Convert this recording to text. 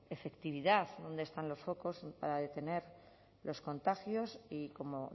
efectividad dónde están los focos para detener los contagios y como